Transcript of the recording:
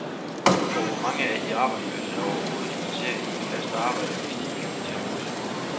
Og hvor mange af de arbejdsløse er overhovedet interesseret i et fast arbejde, hvis de fik det tilbudt?